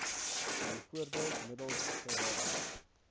bv middels geraas